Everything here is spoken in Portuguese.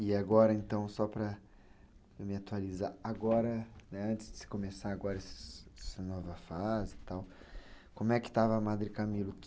E agora, então, só para me atualizar, agora, antes de começar essa nova fase e tal, como é que estava a Madre Camila?